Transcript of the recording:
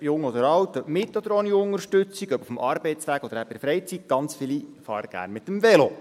Ob jung oder alt, ob mit oder ohne Unterstützung, ob auf dem Arbeitsweg oder eben in der Freizeit – sehr viele fahren gerne mit dem Velo.